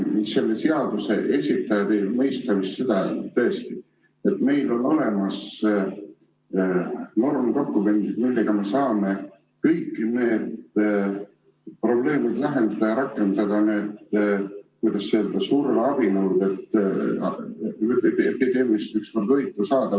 Selle seaduse esitajad ei mõista vist seda, et tõesti, meil on olemas normdokumendid, millega me saame kõik need probleemid lahendada ja rakendada neid, kuidas öelda, surveabinõusid, et epideemiast ükskord võit saada.